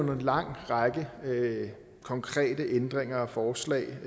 om en lang række konkrete ændringer og forslag